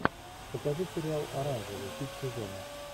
покажи сериал оранжевый хит сезона